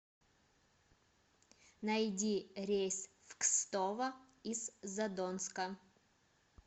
найди рейс в кстово из задонска